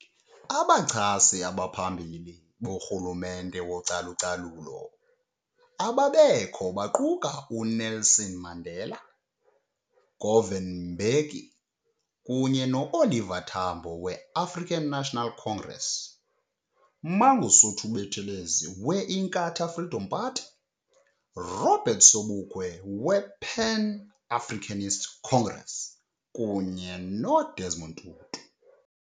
Abachasi abaphambili borhulumente wocalucalulo ababekho baquka uNelson Mandela, Govan Mbeki kunye no Oliver Tambo we African National Congress, Mangosuthu Buthelezi we Inkatha Freedom Party, Robert Sobukwe we Pan Africanist Congress kunye no Desmond Tutu .